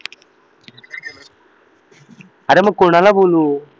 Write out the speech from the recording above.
अरे मग कोणाला बोलू